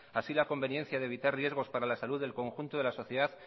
así como la conveniencia de evitar riesgos para la salud del conjunto de la sociedad